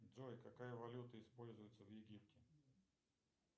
джой какая валюта используется в египте